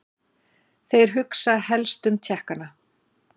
Þeir hugsa helstum Tékkana.